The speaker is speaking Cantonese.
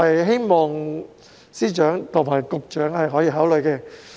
希望司長和局長可以考慮。